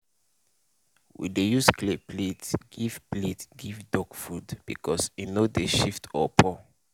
we dey use clay plate give plate give duck food because e no dey shift or pour.